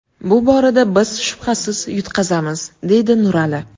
Bu borada biz shubhasiz yutqazamiz, deydi Nurali.